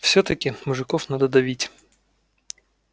всё-таки мужиков надо давить